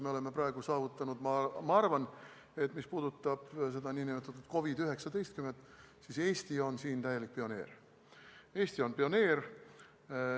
Me oleme praegu saavutanud selle, ma arvan, mis puudutab seda nn COVID-19, et Eesti on siin täielik pioneer.